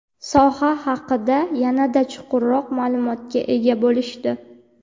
soha haqda yanada chuqurroq ma’lumotga ega bo‘lishdi.